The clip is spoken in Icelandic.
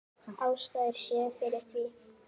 Tvær ástæður séu fyrir því